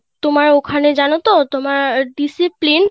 তোমার ওখানে জানো তো তোমার Discipline